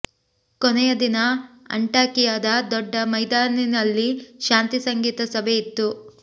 ಕೊನೆಯ ದಿನ ಅಂಟಾಕಿಯದ ದೊಡ್ಡ ಮೈದಾನಿನಲ್ಲಿ ಶಾಂತಿ ಸಂಗೀತ ಸಭೆ ಇತ್ತು